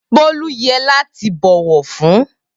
Bolu yẹ lati bọwọ fun.